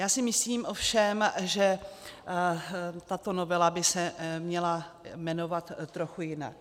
Já si myslím ovšem, že tato novela by se měla jmenovat trochu jinak.